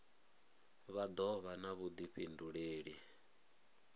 vha do vha na vhudifhinduleli